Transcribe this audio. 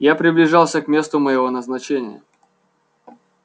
я приближался к месту моего назначения